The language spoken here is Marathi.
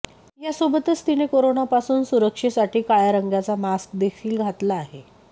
यासोबतच तिने करोनापासून सुरक्षेसाठी काळ्या रंगाचा मास्कदेखील घातला आहे